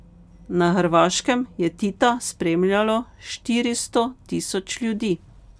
Na Hrvaškem je Tita spremljalo štiristo tisoč ljudi.